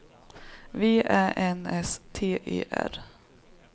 V Ä N S T E R